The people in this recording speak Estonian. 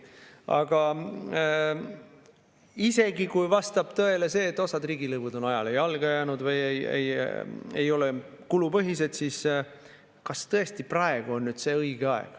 Aga isegi kui vastab tõele see, et osa riigilõive on ajale jalgu jäänud või ei ole kulupõhised, siis kas tõesti praegu on õige aeg?